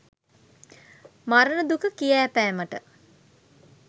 මරණ දුක කියාපෑමට